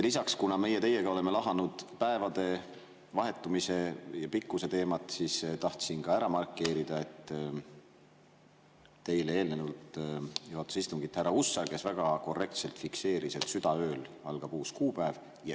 Lisaks, kuna meie teiega oleme lahanud päevade vahetumise ja pikkuse teemat, siis tahtsin ka ära markeerida, et eelnevalt juhatas istungit härra Hussar, kes väga korrektselt fikseeris, et südaööl algab uus kuupäev.